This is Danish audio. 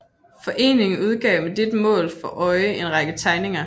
Foreningen udgav med dette mål for øje en række tegninger